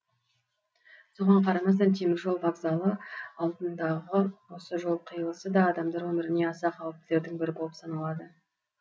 соған қарамастан теміржол вокзалы алдындағы осы жол қиылысы да адамдар өміріне аса қауіптілердің бірі болып саналады